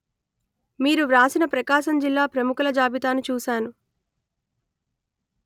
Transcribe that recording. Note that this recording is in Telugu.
మీరు వ్రాసిన ప్రకాశం జిల్లా ప్రముఖుల జాబితాను చూశాను